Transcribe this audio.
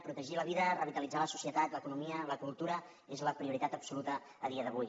protegir la vida revitalitzar la societat l’economia la cultura és la prioritat absoluta a dia d’avui